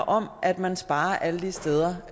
om at man sparer alle de steder